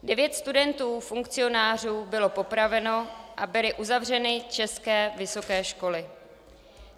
Devět studentů funkcionářů bylo popraveno a byly uzavřeny české vysoké školy.